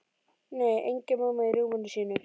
Nei, engin mamma í rúminu sínu.